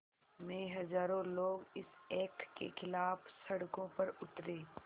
में हज़ारों लोग इस एक्ट के ख़िलाफ़ सड़कों पर उतरे